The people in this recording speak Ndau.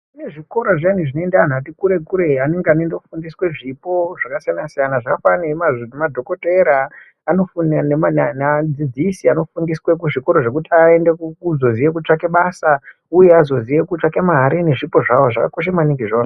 Kuzvikora zviyani kunoenda antu ati kure kure anenge eienda kofundiswa zvipo zvakasiyana siyana zvakafanana nemadhokorera anofundiswa neadzidzisi anofundiswa kuzvikora zvekuti azoziye kutsvaga basa uye azoziye kutsvaka mare nezvipo zvavo zvakakosha maningi izvona.